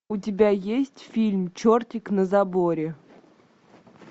у тебя есть фильм чертик на заборе